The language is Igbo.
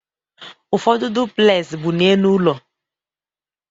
Ụfọdụ duplez bụ n'elu ụlọ.